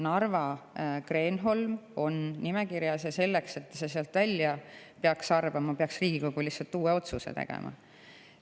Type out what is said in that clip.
Narva Kreenholm on nimekirjas ja selleks, et see sealt välja arvata, peaks Riigikogu uue otsuse tegema.